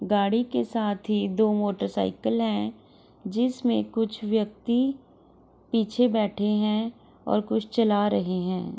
गाड़ी के साथ ही दो मोटर साइकिल है जिसमें दो व्यक्ति पीछे बैठे हैं और कुछ चला रहे हैं |